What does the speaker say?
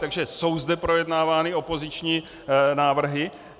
Takže jsou zde projednávány opoziční návrhy.